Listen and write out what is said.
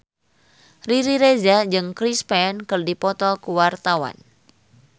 Riri Reza jeung Chris Pane keur dipoto ku wartawan